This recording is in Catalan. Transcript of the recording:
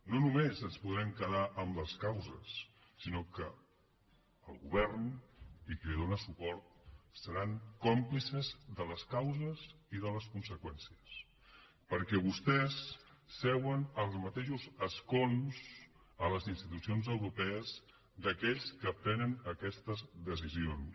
no només ens podrem quedar amb les causes sinó que el govern i qui li dóna suport seran còmplices de les causes i de les conseqüències perquè vostès seuen als mateixos escons a les institucions europees d’aquells que prenen aquestes decisions